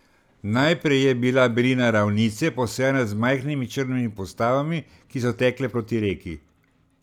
Najprej je bila belina ravnice, posejana z majhnimi črnimi postavami, ki so tekle proti reki.